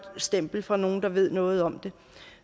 stempel fra nogle der ved noget om det